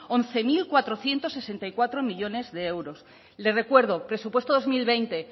once mil cuatrocientos sesenta y cuatro millónes de euros le recuerdo presupuesto dos mil veinte